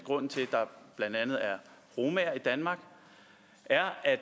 der blandt andet er romaer i danmark er at